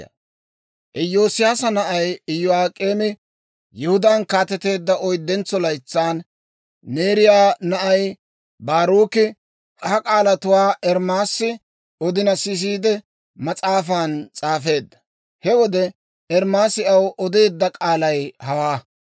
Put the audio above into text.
Iyoosiyaasa na'ay Iyo'ak'eemi Yihudaan kaateteedda oyddentso laytsan, Neeriyaa na'ay Baaruki ha k'aalatuwaa Ermaasi odina sisiide, mas'aafan s'aafeedda. He wode Ermaasi aw odeedda k'aalay hawaa.